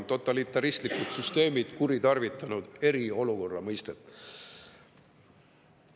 Totalitaristlikud süsteemid on väga palju kuritarvitanud eriolukorra mõistet.